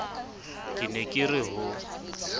ke ne ke re ho